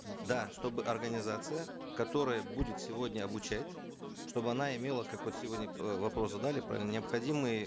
да чтобы организация которая будет сегодня обучать чтобы она имела как вот сегодня э вопрос задали про необходимую